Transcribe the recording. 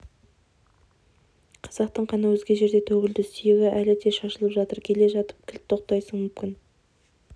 қазақтың қаны өзге жерде төгілді сүйегі әлі де шашылып жатыр келе жатып кілт тоқтайсың мүмкін